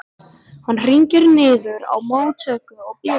Hann hringir niður í móttöku og biður